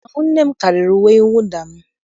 Ahụ nne m karịrị uwe mwụda m.